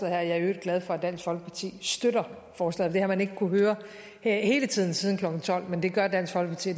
jeg er i øvrigt glad for at dansk folkeparti støtter forslaget det har man ikke kunnet høre hele tiden siden klokken tolv men det gør dansk folkeparti